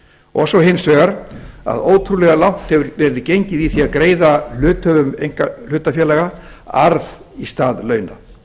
og svo hins vegar að ótrúlega langt hefur verið gengið í því að greiða hluthöfum einkahlutafélaga arð í stað launa á